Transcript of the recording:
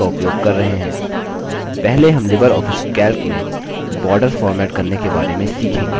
पहले हम LibreOffice calc में borders फॉर्मेट करने के बारे में सीखेंगे